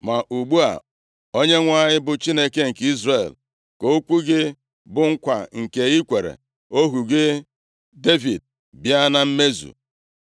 Ma ugbu a, Onyenwe anyị bụ Chineke nke Izrel, ka okwu gị, bụ nkwa nke i kwere ohu gị Devid bịa na mmezu.